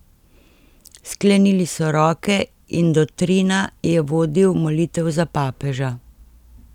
Sklenili so roke in dottrina je vodil molitev za papeža.